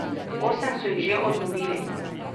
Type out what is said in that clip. Osem so jih že odlovili.